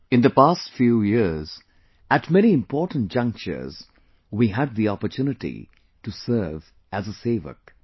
In the past few years at many important junctures we had the opportunity to serve as a Sevak